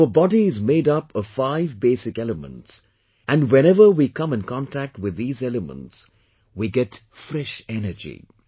Our body is made up of five basic elements and whenever we come in contact with these elements we get fresh energy